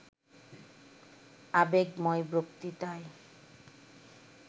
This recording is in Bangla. আবেগময় বক্তৃতায়